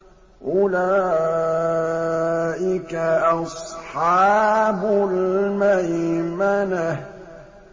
أُولَٰئِكَ أَصْحَابُ الْمَيْمَنَةِ